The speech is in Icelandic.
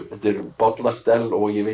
bollastell og ég veit